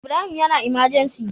Ibrahim yAna emergency